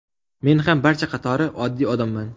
Men ham barcha qatori oddiy odamman.